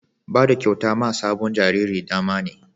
Bada kyauta ma sabon jariri damane